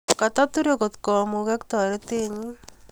Kotaturei kotkomuko taretennyi